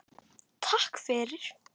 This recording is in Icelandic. Takk fyrir